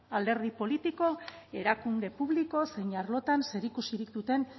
alderdi politiko erakunde publiko zein arlotan zerikusirik duten